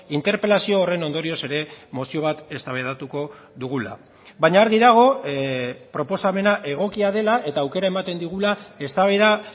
interpelazio horren ondorioz ere mozio bat eztabaidatuko dugula baina argi dago proposamena egokia dela eta aukera ematen digula eztabaida